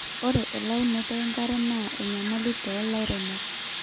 ore elaunoto enkare naa enyamali toolairemok